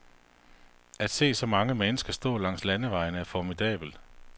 At se så mange mennesker stå langs landevejene er formidabelt.